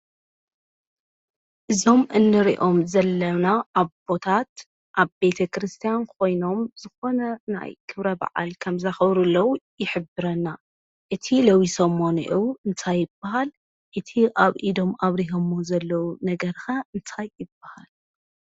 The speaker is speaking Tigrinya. እዞም እንሪኦም ዘለና አቦታት አብ ቤተ ከርስትያን ኮይኖም ዝኾነ ናይ ክብረ በዓል ከም ዘኽብሩ ዘለው ይሕብርና። እቲ ለቢሶሞ እኔዉ እንታይ ይብሃል፡፡ እቲ አብ ኢዶም አብሪሄምዎ ዘለው ነገር ከ እንታይ ይበሃል?